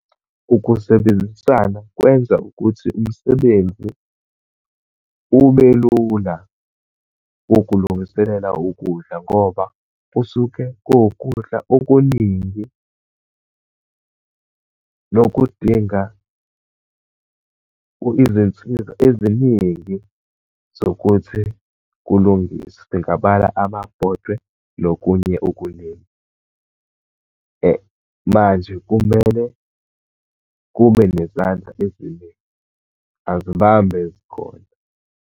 Ukusebenzisana kwenza ukuthi umsebenzi ubelula, wokulungiselela ukudla ngoba kusuke kuwukudla okuningi, nokudinga izinsiza eziningi zokuthi kulungiswe. Singabala amabhodwe, nokunye okuningi. Manje kumele kube nezandla eziningi. Azibambe ezikhona.